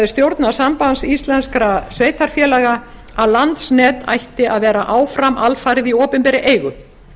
stjórn sambands íslenskra sveitarfélaga að landsnet ætti að vera áfram alfarið í opinberri eigu